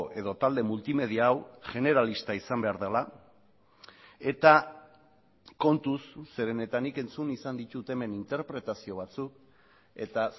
edo talde multimedia hau generalista izan behar dela eta kontuz zeren eta nik entzun izan ditut hemen interpretazio batzuk eta